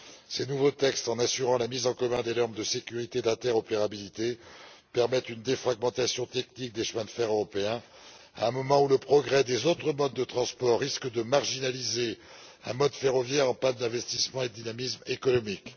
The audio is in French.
Ces nouveaux textes, en assurant la mise en commun des normes de sécurité et d'interopérabilité, permettent une défragmentation technique des chemins de fer européens à un moment où le progrès des autres modes de transport risque de marginaliser un mode ferroviaire en panne d'investissement et de dynamisme économique.